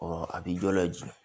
a bi dɔ lajigin